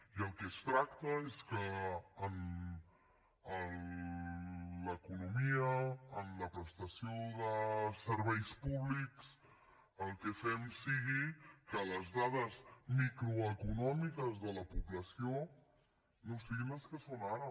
i del que es tracta és que en l’economia en la prestació dels serveis públics el que fem sigui que les dades microeconòmiques de la població no siguin les que són ara